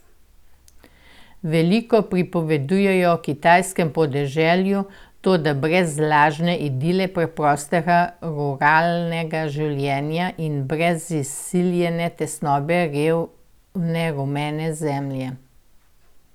Veliko pripoveduje o kitajskem podeželju, toda brez lažne idile preprostega ruralnega življenja in brez izsiljene tesnobe revne rumene zemlje.